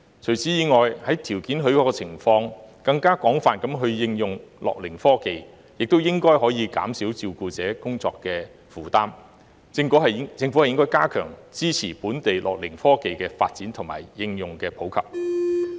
除此以外，在條件許可的情況下，更廣泛地應用樂齡科技亦應該可減少照顧者工作負擔，政府應該加強支持本地樂齡科技的發展和應用普及。